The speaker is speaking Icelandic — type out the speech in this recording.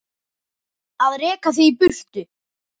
Að reka þig í burtu!